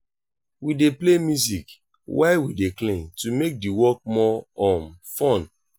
we dey play music while we dey clean to make di work more um fun.